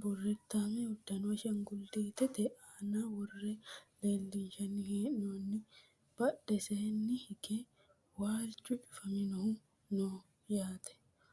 burritaame uddano ashaangullittete aana worre leellinshanni hee'noonni badheseenni hige waalchu cufaminohu no yaate